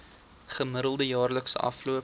gemiddelde jaarlikse afloop